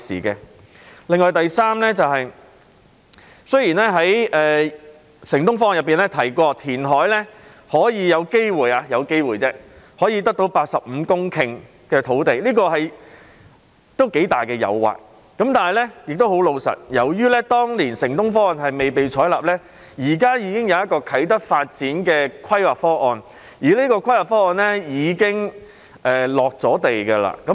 此外，雖然"城東方案"提到填海有機會——只是"有機會"——可以得到85公頃土地，這是頗大的誘惑，可是，坦白說，由於當年"城東方案"未被採納，現時已有啟德發展的規劃方案，而這項規劃方案亦已經"落地"。